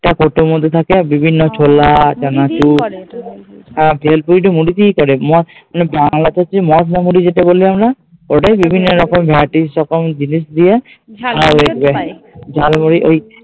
টা প্রথমে দিকে থাকে আর হ্যাঁ, ভেলপুরি টা মুড়ি দিয়েই করে মানে তে যেটা মশলা মুড়ি যেটা বলি আমরা ওটাই বিভিন্ন রকম রকম জিনিস দিয়ে ঝালমুড়ি ঐ